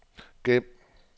gem